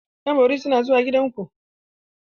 Ƴan bori suna zuwa gida ku.